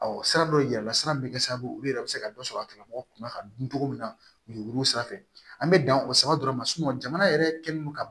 Ɔ sira dɔ yira la sira min bɛ kɛ sababu ye olu yɛrɛ bɛ se ka dɔ sɔrɔ a tigilamɔgɔ kunna ka dun togo min na yuruguyurugu sira fɛ an bɛ dan o sira dɔrɔn ma jamana yɛrɛ kɛlen don ka